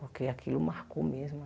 Porque aquilo marcou mesmo.